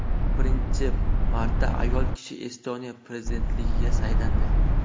Birinchi marta ayol kishi Estoniya prezidentligiga saylandi.